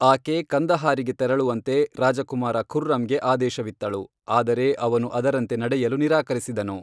ಆಕೆ ಕಂದಹಾರಿಗೆ ತೆರಳುವಂತೆ ರಾಜಕುಮಾರ ಖುರ್ರಂಗೆ ಆದೇಶವಿತ್ತಳು, ಆದರೆ ಅವನು ಅದರಂತೆ ನಡೆಯಲು ನಿರಾಕರಿಸಿದನು.